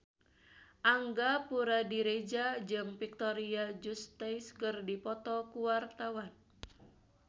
Angga Puradiredja jeung Victoria Justice keur dipoto ku wartawan